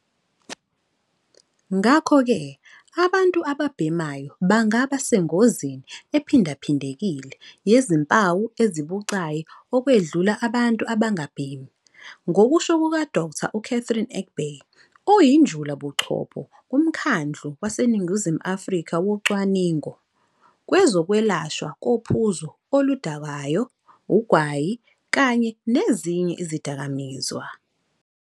Ngakho-ke, abantu ababhemayo bangaba sengozini ephindaphindekile yezimpawu ezibucayi okwedlula abantu abangabhemi, ngokusho kuka-Dkt. u-Catherine Egbe, oyinjulabuchopho kuMkhandlu WaseNingizimu Afrika Wocwaningo Kwezokwelashwa kophuzo oludakayo, ugwayi kanye nezinye izidakamizwa.